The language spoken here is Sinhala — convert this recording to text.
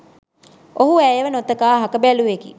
ඔහු ඇයව නොතකා අහක බැලූවෙකි